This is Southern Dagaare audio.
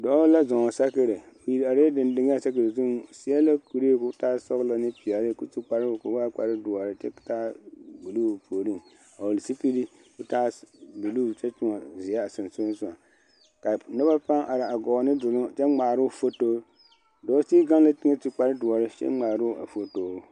Dɔɔ la zuŋ sakiri , o iri are la denden a sakiri zuŋ o seɛ la kuree kɔɔ taa sɔglɔ ane pɛɛle kɔɔ su kparoo kɔɔ waa kpare doɔre kyɛ taa buuluu o puoriŋ a vɔgeli zupili kɔɔ taa buuluu kyɛ tonne zeɛ a sensɔleŋ ka nob paa are a gɔɔ ne duur a ŋmaaroo foto dɔɔ sigi gaŋ la teŋɛ su kpare doɔre kyɛ ŋmaaroo a foto.